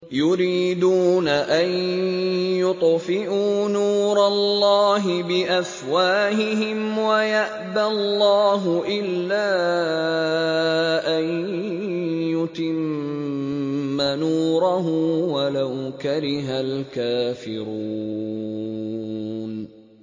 يُرِيدُونَ أَن يُطْفِئُوا نُورَ اللَّهِ بِأَفْوَاهِهِمْ وَيَأْبَى اللَّهُ إِلَّا أَن يُتِمَّ نُورَهُ وَلَوْ كَرِهَ الْكَافِرُونَ